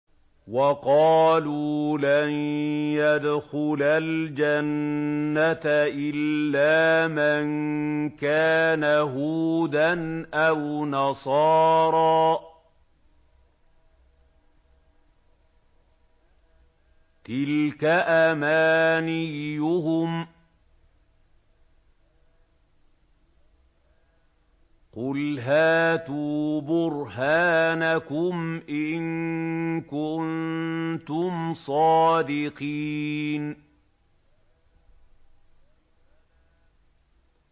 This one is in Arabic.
وَقَالُوا لَن يَدْخُلَ الْجَنَّةَ إِلَّا مَن كَانَ هُودًا أَوْ نَصَارَىٰ ۗ تِلْكَ أَمَانِيُّهُمْ ۗ قُلْ هَاتُوا بُرْهَانَكُمْ إِن كُنتُمْ صَادِقِينَ